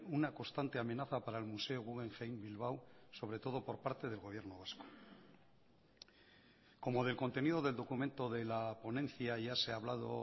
una constante amenaza para el museo guggenheim bilbao sobre todo por parte del gobierno vasco como del contenido del documento de la ponencia ya se ha hablado